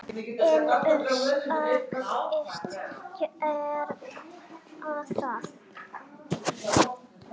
Finnur sagðist gera það.